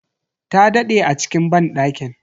Ta daɗe a cikin banɗakin.